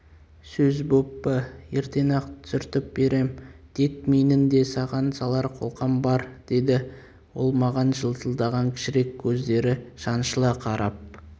сөз боп па ертең-ақ түсіртіп берем тек менің де саған салар қолқам бар деді ол маған жылтылдаған кішірек көздері шаншыла қарап